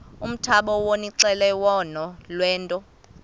umthamo wonxielelwano lwethu